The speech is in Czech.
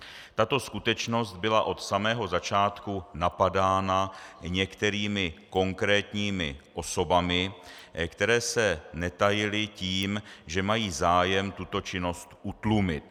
Tato skutečnost byla od samého začátku napadána některými konkrétními osobami, které se netajily tím, že mají zájem tuto činnost utlumit.